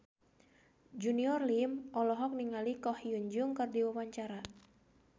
Junior Liem olohok ningali Ko Hyun Jung keur diwawancara